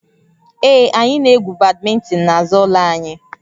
Ee, anyị na-egwu badminton n'azụ ụlọ anyị